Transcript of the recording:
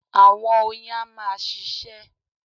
Àwọn oyin a máa ṣíṣe